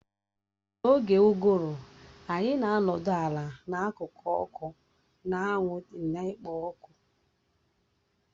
N'oge uguru anyị na-anọdụ ala n'akụkụ ọkụ, na-aṅụ tii na-ekpo ọkụ